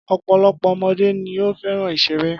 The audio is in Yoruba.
Ọ̀pọ̀lọpọ̀ ọmọdé ni ó fẹ́ràn ìṣeré.